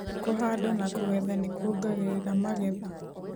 Kũhanda na kũgetha nĩkwongagĩrĩra magetha.